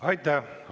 Aitäh!